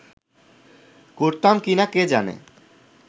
করতাম কি না কে জানে